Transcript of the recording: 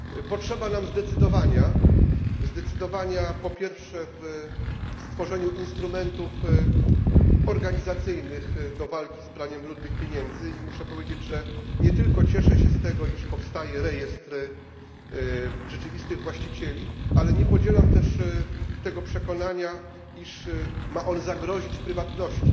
Potrzeba nam zdecydowania, po pierwsze w stworzeniu instrumentów organizacyjnych do walki z praniem brudnych pieniędzy i muszę powiedzieć, że nie tylko cieszę się z tego, iż powstaje rejestr rzeczywistych właścicieli, ale nie podzielam też tego przekonania, iż ma on zagrozić prywatności.